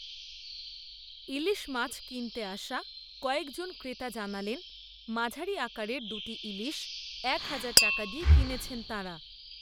ইলিশ মাছ কিনতে আসা কয়েক জন ক্রেতা জানালেন, মাঝারি আকারের দু’টি ইলিশ, এক হাজার টাকা দিয়ে কিনেছেন তাঁরা